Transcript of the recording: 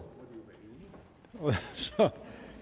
og så